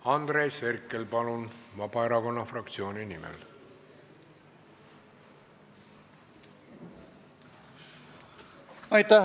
Andres Herkel, palun Vabaerakonna fraktsiooni nimel!